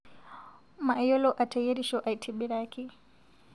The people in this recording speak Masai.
Mayiolo ateyerisho aitibiraki